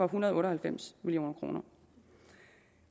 hundrede og otte og halvfems million kroner